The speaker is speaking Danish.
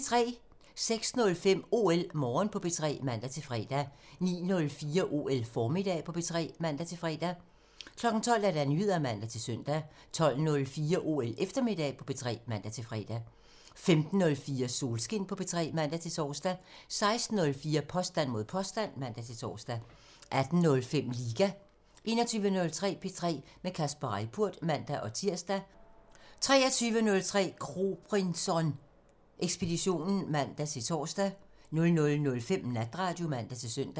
06:05: OL Morgen på P3 (man-fre) 09:04: OL Formiddag på P3 (man-fre) 12:00: Nyheder (man-søn) 12:04: OL Eftermiddag på P3 (man-fre) 15:04: Solskin på P3 (man-tor) 16:04: Påstand mod påstand (man-tor) 18:05: Liga (man) 21:03: P3 med Kasper Reippurt (man-tir) 23:03: Kropinson Ekspeditionen (man-tor) 00:05: Natradio (man-søn)